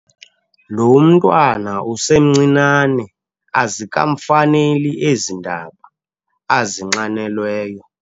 Lo mntwana usemncinane azikamfaneli ezi ndaba azinxanelweyo.